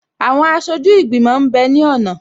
Àwọn aṣojú ìgbìmọ̀ m bẹ ní ọ̀nà